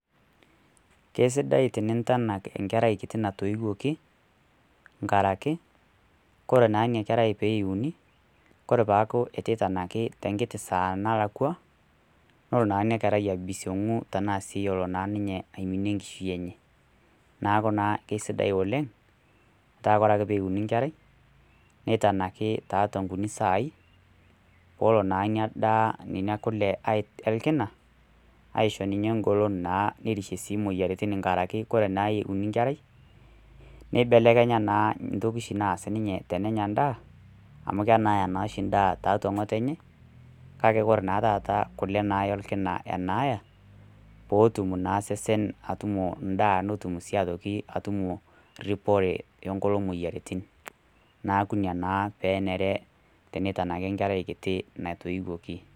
Keisidai teniintanak enkerai kiti natoiwoki enkaraki, kore naa ina kerai pee euni, kore peitu eitanaki tenkiti saa nalakwa, nelo naa ina kerai aibisiong'u tanaa sii aiminie enkishui enye. Neaku naa keisidai oleng' metaa kore ake pee euni enkerai, neitanaki toonkuti saai peelo naa ina daa, nena kule olkina, aisho naa ninye ng'olon naa nerishie sii imoyiaritin enkaraki kore naa euni enkerai, neibelekenya naa ntoki oshi ninye nanya ana endaa, amu kenaaya nooshi endaa tiatua ng'otonye, kake kore naa oshi taata kule olkina enaaya, peetum naa endaa osesen atutumo endaa neitoki atutumo ripore o nkulie moyiaritin, neaku ina naa penare peitanaki enkerai kiti natoiwoki.